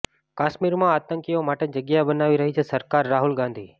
કાશ્મીરમાં આતંકીઓ માટે જગ્યા બનાવી રહી છે સરકારઃ રાહુલ ગાંધી